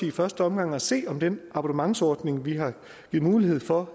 i første omgang at se om den abonnementsordning vi har givet mulighed for